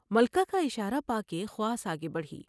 ملکہ کا اشارہ پا کے خواص آگے بڑھی ۔